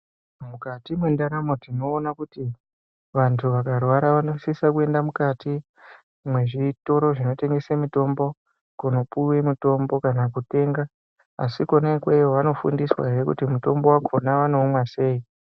Mukati mwendaramo tinoona kuti vantu vakarwara vanosisa kuenda mukati mwezvitoro zvinotengesa mutombo. Kunopuwa mitombo kana kutenga. Asi kwona ikweyo vanofundiswa he kuti mutombo wakhona vanoumwa sei.